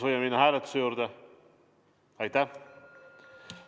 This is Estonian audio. Aitäh!